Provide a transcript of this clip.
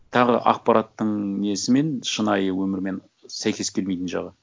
тағы ақпараттың несімен шынайы өмірмен сәйкес келмейтін жағы